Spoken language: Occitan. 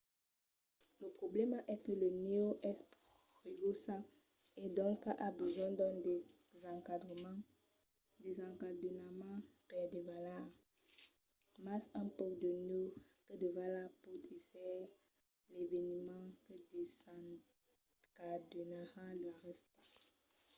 lo problèma es que la nèu es pegosa e doncas a besonh d'un desencadenament per davalar mas un pauc de nèu que davala pòt èsser l'eveniment que desencadenarà la rèsta